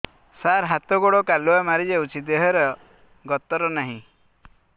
ସାର ହାତ ଗୋଡ଼ କାଲୁଆ ମାରି ଯାଉଛି ଦେହର ଗତର ନାହିଁ